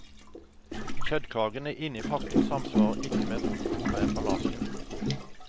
Kjøttkakene inne i pakken samsvarer ikke med fotoet på emballasjen.